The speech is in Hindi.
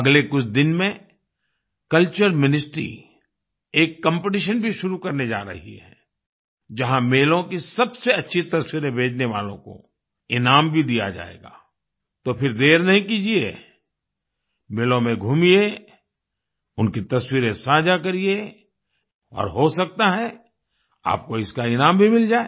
अगले कुछ दिन में कल्चर मिनिस्ट्री एक कॉम्पिटिशन भी शुरू करने जा रही है जहाँ मेलों की सबसे अच्छी तस्वीरें भेजने वालों को इनाम भी दिया जाएगा तो फिर देर नहीं कीजिए मेलों में घूमियें उनकी तस्वीरें साझा करिए और हो सकता है आपको इसका ईनाम भी मिल जाए